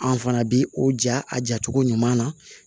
An fana bi o ja a jacogo ɲuman na